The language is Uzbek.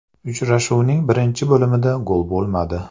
Uchrashuvning birinchi bo‘limida gol bo‘lmadi.